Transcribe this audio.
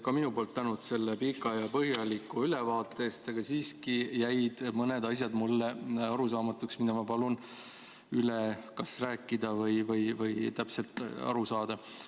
Ka minu poolt tänud selle pika ja põhjaliku ülevaate eest, aga siiski jäid mõned asjad mulle arusaamatuks, mida ma palun üle rääkida, et täpselt aru saada.